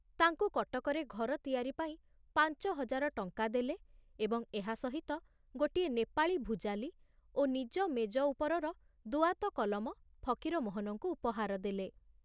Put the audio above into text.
ତାଙ୍କୁ କଟକରେ ଘର ତିଆରି ପାଇଁ ପାଞ୍ଚ ହଜାର ଟଙ୍କା ଦେଲେ ଏବଂ ଏହା ସହିତ ଗୋଟିଏ ନେପାଳୀ ଭୁଜାଲୀ ଓ ନିଜ ମେଜ ଉପରର ଦୁଆତ କଲମ ଫକୀରମୋହନଙ୍କୁ ଉପହାର ଦେଲେ।